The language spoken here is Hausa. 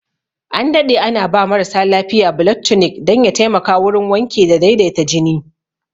An daɗe ana ba marasa lafiya blood tunic dan ya taimaka wurin wanke da daidaita jini